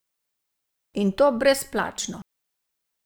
In to brezplačno!